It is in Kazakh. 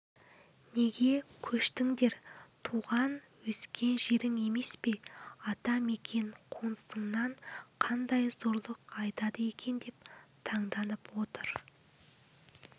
неге көштіндер тұған-өскен жерің емес пе ата мекен қонысыңнан қандай зорлық айдады екен деп танданып отыр